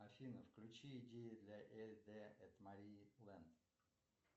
афина включи идеи для эль дэ эт мария вэнт